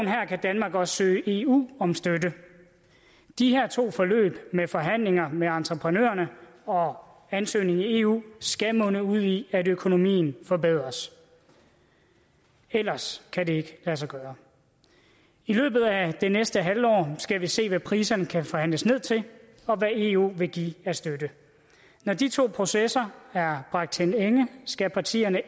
kan danmark også søge eu om støtte de her to forløb med forhandlinger med entreprenørerne og ansøgningen i eu skal munde ud i at økonomien forbedres ellers kan det ikke lade sig gøre i løbet af det næste halve år skal vi se på hvad priserne kan forhandles ned til og hvad eu vil give af støtte når de to processer er bragt til ende skal partierne